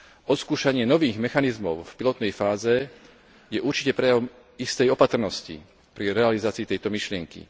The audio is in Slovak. Odskúšanie nových mechanizmov v pilotnej fáze je určite prejavom istej opatrnosti pri realizácii tejto myšlienky.